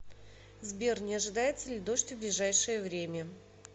сбер не ожидается ли дождь в ближайшее время